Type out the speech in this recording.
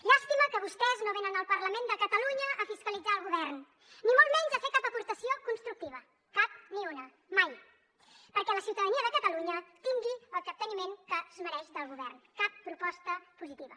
llàstima que vostès no venen al parlament de catalunya a fiscalitzar el govern ni molt menys a fer cap aportació constructiva cap ni una mai perquè la ciutadania de catalunya tingui el capteniment que es mereix del govern cap proposta positiva